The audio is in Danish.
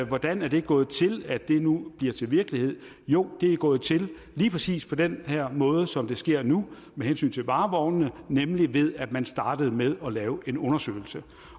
hvordan det er gået til at det nu bliver til virkelighed jo det er gået til lige præcis på den måde som det sker nu med hensyn til varevognene nemlig ved at man startede med at lave en undersøgelse